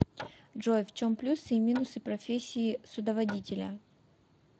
джой в чем плюсы и минусы профессии судоводителя